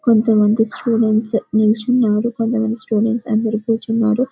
కొంత మంది స్టూడెంట్స్ నిలిచి ఉన్నారు కొంత మంది స్టూడెంట్స్ కూచున్నారు --